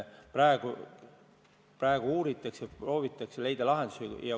Praegu uuritakse, proovitakse leida lahendusi.